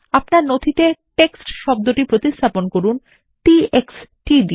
আপনার নথিতে টেক্সট শব্দটি প্রতিস্থাপন করুন t x t দিয়ে